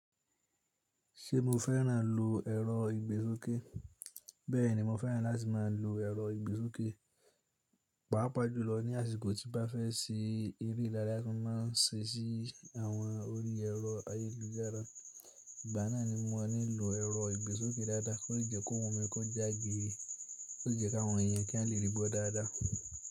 Ṣé mo fẹ́ràn lọ ẹrọ ìgbésókè? Bẹ́ẹ̀ni mo fẹ́ràn láti má a lọ ẹrọ ìgbésókè. Pápá jùlọ ní àsìkò tí bá fẹ́ ṣe èré ìdárayá, tí máa ń ṣe sí àwọn orí ẹrọ ayélujára. Ìgbà náà ni mo nílò ẹrọ ìgbésókè dáadáa, kí ó lẹ́ kó ohùn mí kó já gèrè, tí ó jẹ́ káwọn èèyàn kí wọ́n lè rí gbọ dáadáa.